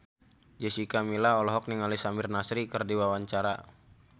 Jessica Milla olohok ningali Samir Nasri keur diwawancara